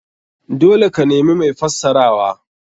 Dole ka nemi mai fassarawa.